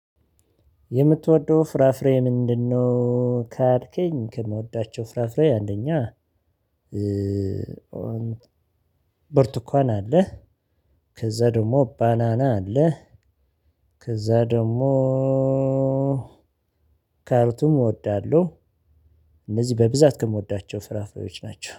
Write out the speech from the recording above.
የምትወደው ፍራፍሬ ምንድነው? ካልከኝ ከምወዳቸው ፍራፍሬ አንደኛ በርቱካን አለህ። ከዛ ደግሞ ባናና አለህ። ከዛ ደግሞ ካሮትም እወዳለሁ። እነዚህ በብዛት ከምወዳቸው ፍራፍሬዎች ናቸው